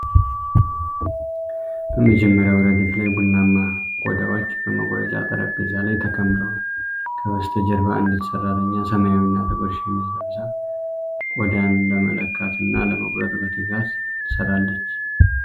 በመጀመሪያው ረድፍ ላይ ቡናማ ቆዳዎች በመቁረጫ ጠረጴዛ ላይ ተከምረዋል። ከበስተጀርባ አንዲት ሰራተኛ ሰማያዊና ጥቁር ሸሚዝ ለብሳ ቆዳን ለመለካትና ለመቁረጥ በትጋት ትሰራለች።